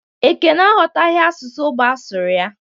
Ekene aghọtaghị asụsụ ógbè a sụrụ ya